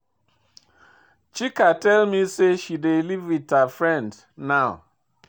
Chika tell me say she dey live with her friend now